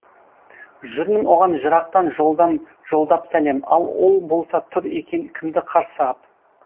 жүрмін оған жырақтан жолдап сәлем ал ол болса тұр екен кімді қарсы ап